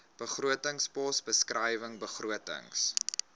begrotingspos beskrywing begrotings